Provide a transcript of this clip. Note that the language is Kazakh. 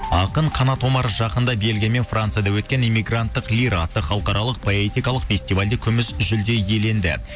ақын қанат омар жақында белгия мен францияда өткен эмигранттық лира атты халықаралық поэткалық фестивальде күміс жүлде иеленді